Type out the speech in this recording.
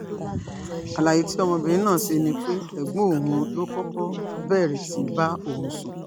àlàyé tí ọmọbìnrin náà ṣe ni pé ẹ̀gbọ́n òun ló kọ́kọ́ bẹ̀rẹ̀ sí í bá òun sùn